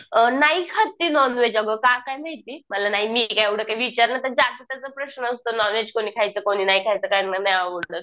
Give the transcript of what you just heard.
अ नाही खात ती नॉनव्हेज अगं का काय माहिती मला नाही मी काय एवढं काय विचारलं तर ज्याचा त्याचा प्रश्न असतो नॉनव्हेज कुणी खायचं कुणी नाही खायचं काहींना नाही आवडत